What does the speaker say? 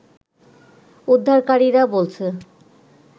উদ্ধারকারীরা বলছে